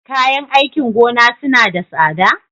Kayan aikin gona suna da tsada?